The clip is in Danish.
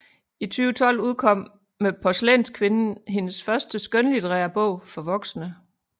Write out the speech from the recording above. I 2012 udkom med Porcelænskvinden hendes første skønlitterære bog for voksne